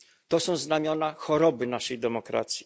To są znamiona choroby naszej demokracji.